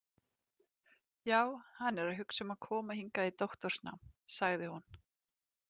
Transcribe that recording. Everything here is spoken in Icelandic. Já, hann er að hugsa um að koma hingað í doktorsnám, sagði hún.